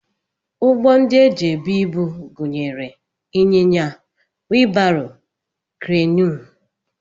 Ụgbọ ndị e ji ebu ibu gụnyere ịnyịnya, wii baro, kreenụ